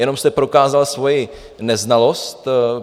Jenom jste prokázal svoji neznalost.